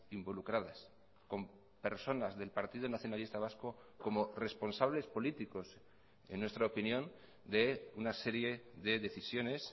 involucradas con personas del partido nacionalista vasco como responsables políticos en nuestra opinión de una serie de decisiones